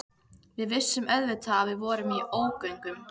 Við vissum auðvitað að við vorum í ógöngum.